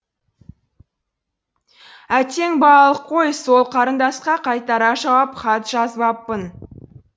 әттең балалық қой сол қарындасқа қайтара жауап хат жазбаппын